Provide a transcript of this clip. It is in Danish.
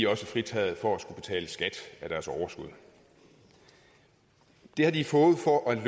også fritaget for at skulle betale skat af deres overskud det har de fået for at